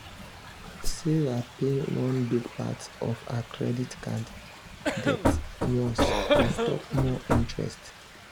sarah pay one big part of her credit card debt once to stop more interest.